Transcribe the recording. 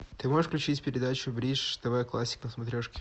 ты можешь включить передачу бридж тв классик на смотрешке